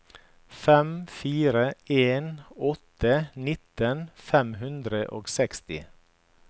fem fire en åtte nitten fem hundre og seksti